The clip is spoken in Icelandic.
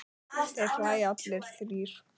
Þeir hlæja allir þrír.